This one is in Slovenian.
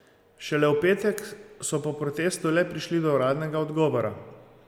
Šele v petek so po protestu le prišli do uradnega odgovora.